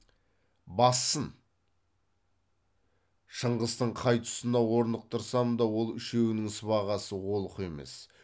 бассын шыңғыстың қай тұсына орнықтырсам да ол үшеуінің сыбағасы олқы емес